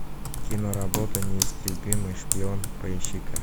киноработа неистребимый шпион поищи ка